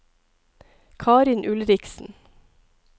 Karin Ulriksen